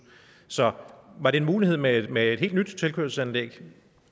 så var det en mulighed med et med et helt nyt tilkørselsanlæg